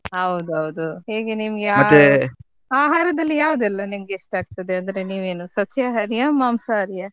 ಹೌದೌದು ಈಗ ನಿನ್ಗೆ ಆಹಾ~ ಆಹಾರದಲ್ಲಿ ಯಾವದೆಲ್ಲ ನಿಮ್ಗೆ ಇಷ್ಟ ಆಗ್ತದೆ ಅಂದ್ರೆ ನೀವೇನು ಸಸ್ಯಾಹಾರಿಯಾ ಮಾಂಸಾಹಾರಿಯಾ?